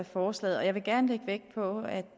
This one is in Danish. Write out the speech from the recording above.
forstå at